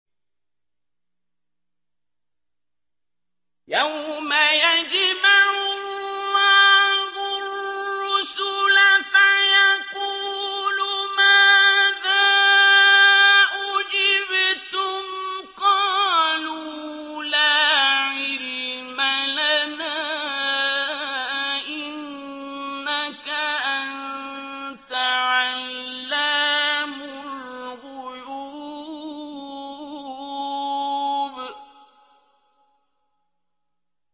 ۞ يَوْمَ يَجْمَعُ اللَّهُ الرُّسُلَ فَيَقُولُ مَاذَا أُجِبْتُمْ ۖ قَالُوا لَا عِلْمَ لَنَا ۖ إِنَّكَ أَنتَ عَلَّامُ الْغُيُوبِ